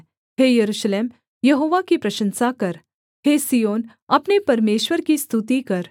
हे Jerusalem Jehovah की प्रशंसा कर हे सिय्योन अपने परमेश्वर की स्तुति कर